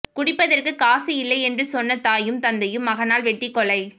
குடிப்பதற்கு காசு இல்லையென்று சொன்ன தாயும் தந்தையும் மகனால் வெட்டி கொலை